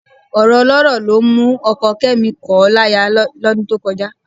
Ọ̀rọ̀ ọlọ́rọ̀ ló mú ọkọ Kẹ́mi kọ̀ ọ́ láya lọ́dún tó kọjá